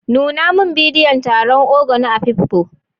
Nuna min bidiyon taron Ogo na Afikpo.